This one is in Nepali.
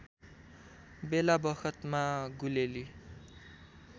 बेलाबखतमा गुलेली